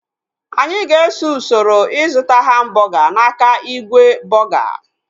Anyị ga-eso usoro ịzụta hambọga n'aka igwe bọga